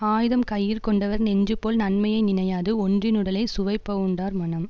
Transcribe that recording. ஆயுதம் கையிற்கொண்டவர் நெஞ்சுபோல் நன்மையை நினையாது ஒன்றினுடலைச் சுவைபவுண்டார் மனம்